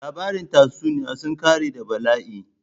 Labarin tatsuniya sun ƙare da bala'i.